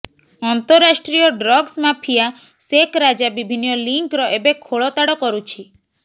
ଅନ୍ତରାଷ୍ଟ୍ରୀୟ drugs mafia ସେକ୍ ରାଜା ବିଭିନ୍ନ ଲିଙ୍କର ଏବେ ଖୋଳତାଡ଼ କରୁଛି